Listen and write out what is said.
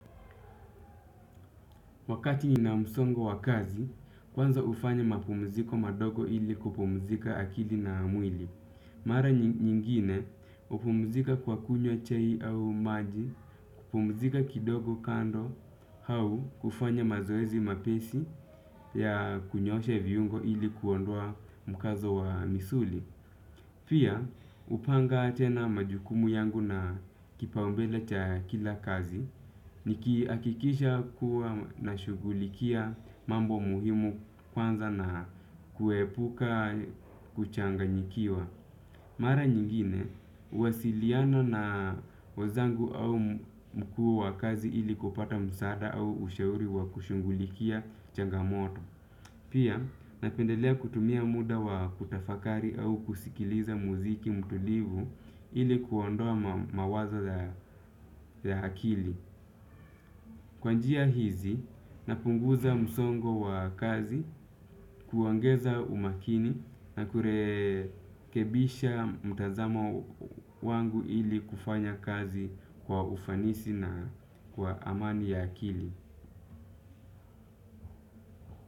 Wakati nina msongo wa kazi, kwanza ufanya mapumziko madogo ili kupumzika akili na mwili. Mara nyingine, hupumzika kwa kunywa chai au maji, kupumzika kidogo kando, hau kufanya mazoezi mapesi ya kunyoosha viyungo ili kuondwa mkazo wa misuli. Pia, hupanga tena majukumu yangu na kipaumbele cha kila kazi, nikihakikisha kuwa nashugulikia mambo muhimu kwanza na kuepuka kuchanganyikiwa. Mara nyingine, wasiliano na wazangu au mkuu wa kazi ili kupata msaada au ushauri wa kushungulikia changamoto. Pia, napendelea kutumia muda wa kutafakari au kusikiliza muziki mtulivu ili kuondoa mawaza za akili. Kwa njia hizi napunguza msongo wa kazi kuongeza umakini na kurekebisha mtazamo wangu ili kufanya kazi kwa ufanisi na kwa amani ya akili.